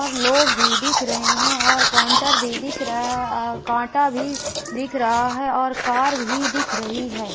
और लोग भी दिख रहें हैं और काउंटर भी दिख रहा हैं कांटा भी दिख रहा हैं और कार भी दिख रहीं हैं।